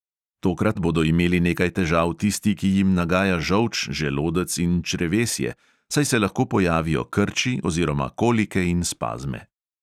Tokrat bodo imeli nekaj težav tisti, ki jim nagaja žolč, želodec in črevesje, saj se lahko pojavijo krči oziroma kolike in spazme.